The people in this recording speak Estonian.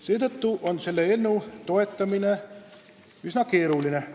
Seetõttu on selle eelnõu toetamine üsna keeruline.